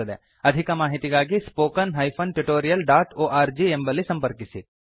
ಅಧಿಕ ಮಾಹಿತಿಗಾಗಿ spoken hyphen tutorial dot org ಎಂಬಲ್ಲಿ ಸಂಪರ್ಕಿಸಿ